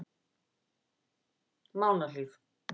Mánahlíð